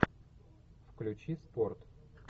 включи спорт